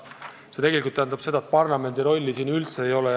See tegelikult tähendab seda, et parlamendi rolli üldse ei ole.